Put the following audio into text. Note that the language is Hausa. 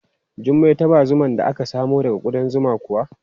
Jummai ta ba zuman da aka samo daga kuɗan zuman kuwa?